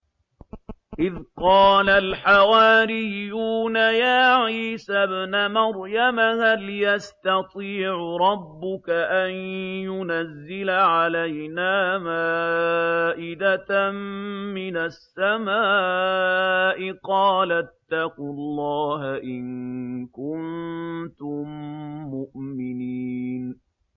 إِذْ قَالَ الْحَوَارِيُّونَ يَا عِيسَى ابْنَ مَرْيَمَ هَلْ يَسْتَطِيعُ رَبُّكَ أَن يُنَزِّلَ عَلَيْنَا مَائِدَةً مِّنَ السَّمَاءِ ۖ قَالَ اتَّقُوا اللَّهَ إِن كُنتُم مُّؤْمِنِينَ